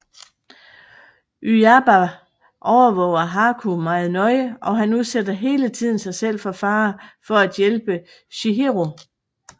Yubaba overvåger Haku meget nøje og han udsætter hele tiden sig selv for fare for at hjælpe Chihiro